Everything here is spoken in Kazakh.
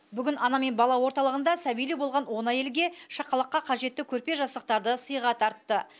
бүгін ана мен бала орталығында сәбилі болған он әйелге шақалаққа қажетті көрпе жастықтарды сыйға тартты